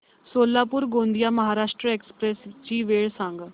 Solapur Gondia Maharashtra express ची वेळ सांगा